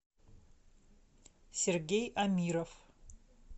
сергей амиров